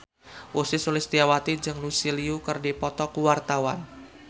Ussy Sulistyawati jeung Lucy Liu keur dipoto ku wartawan